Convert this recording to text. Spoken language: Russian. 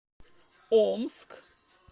омск